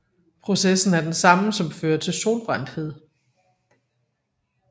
Processen er den samme som fører til solbrændthed